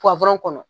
kɔnɔ